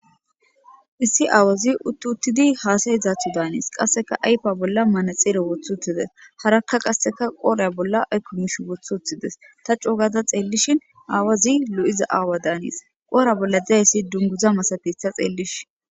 Issi aawozi utti uttidi hasayizaysa daanes qaseka ayfa bolla manaxire wothi uttides haraka qase qoodha bolla ayko miishi wothi wothides ta coo gaada xeelishin awozi lo'iza aawa daanes qodha bolla dizaysi dunguza daanes ta xeelishin.